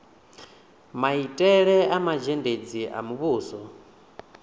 maitele a mazhendedzi a muvhuso